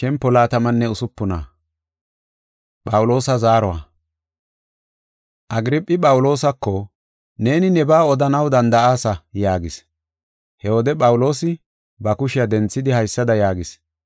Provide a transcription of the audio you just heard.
Agirphi Phawuloosako, “Neeni nebaa odanaw danda7aasa” yaagis. He wode Phawuloosi ba kushiya denthidi haysada yaagis: